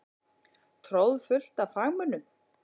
Troðfullt af fagmönnum.